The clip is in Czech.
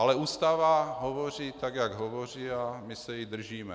Ale Ústava hovoří tak, jak hovoří, a my se jí držíme.